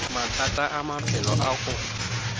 mathata a maphelo a go